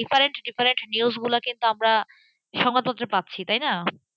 different different নিউজগুলো কিন্তু আমরা সময়মতো পাচ্ছি তাই না?